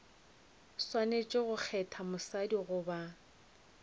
swanetše go kgetha mosadi goba